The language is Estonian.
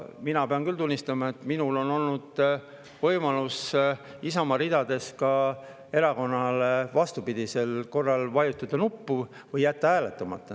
Mina pean küll tunnistama, et minul on olnud Isamaa ridades võimalus erakonnale vastupidise korral vajutada nuppu või jätta hääletamata.